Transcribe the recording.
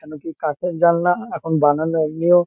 কেন কি কাঠের জালনা এখন বানানো হয়নিও।